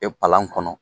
E palan kɔnɔ